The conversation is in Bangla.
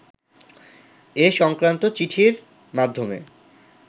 এ-সংক্রান্ত চিঠির মাধ্যমে